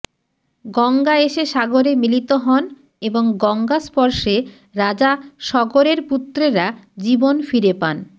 গঙ্গা এসে সাগরে মিলিত হন এবং গঙ্গা স্পর্শে রাজা সগরের পুত্রেরা জীবন ফিরে পান